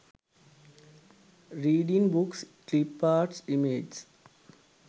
reading books clip arts images